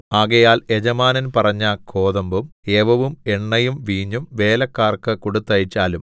ആകയാൽ യജമാനൻ പറഞ്ഞ കോതമ്പും യവവും എണ്ണയും വീഞ്ഞും വേലക്കാർക്കു കൊടുത്തയച്ചാലും